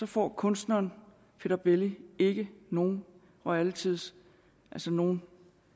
får kunstneren peter belli ikke nogen royalties altså nogen